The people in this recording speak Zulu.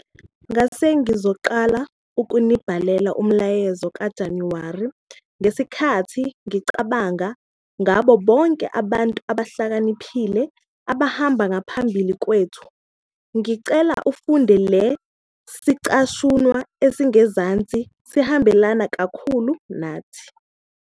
Ngasengizoqala ukunibhalela umyalezo kaJanuary ngesikhathi ngicabanga ngabo bonke abantu abahlakaniphile abahamba ngaphambi kwethu. Ngicela ufunde le zicashunwa ezingezansi - zihambelana kakhulu nathi.